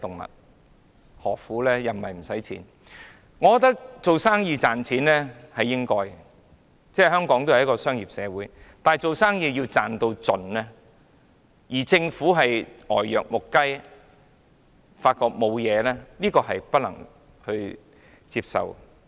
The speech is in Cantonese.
我認為做生意力求賺錢是應該的，香港始終是商業社會，但不擇手段爭取最大利潤，而政府卻呆若木雞，渾然不覺問題的所在，那便不能接受。